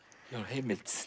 heimild